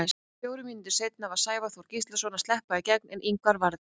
Fjórum mínútum seinna var Sævar Þór Gíslason að sleppa í gegn, en Ingvar varði.